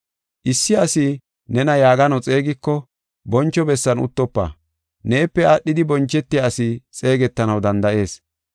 “Issi asi nena yaagano xeegiko boncho bessan uttofa. Neepe aadhidi bonchetiya asi xeegetanaw danda7ees.